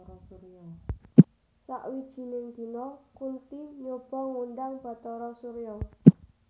Sawijining dina Kunthi nyoba ngundhang Bathara Surya